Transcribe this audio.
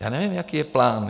Já nevím, jaký je plán.